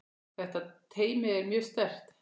Þetta teymi er mjög sterkt.